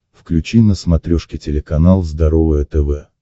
включи на смотрешке телеканал здоровое тв